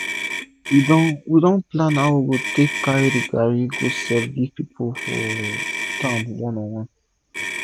we don we don plan how we take carri garri go sell give pipu for town one on one